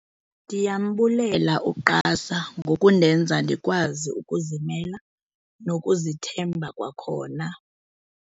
"Ndiyambulela u-QASA ngokundenza ndikwazi ukuzimela nokuzithemba kwakhona."